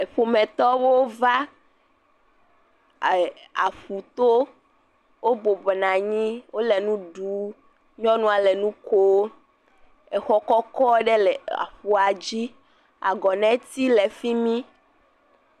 Eƒometɔwo va aƒuto, wobɔbɔ nɔ anyi, wole nu ɖum, nyɔnua le nu kom. Exɔ kɔkɔ ɖe le aƒuadzi. Agɔ neti le fi mi.